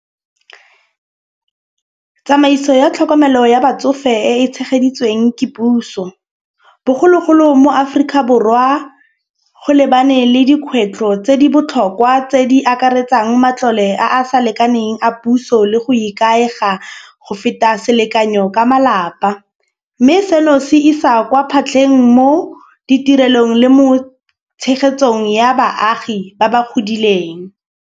Tsamaiso ya tlhokomelo ya batsofe e e tshegeditsweng ke puso. Bogologolo mo Aforika Borwa go lebane le dikgwetlho tse di botlhokwa tse di akaretsang matlole a a sa lekaneng a puso, le go ikaega go feta selekanyo ka malapa. Mme seno se isa kwa phatleng mo ditirelong le mo tshegetsong ya baagi ba ba godileng.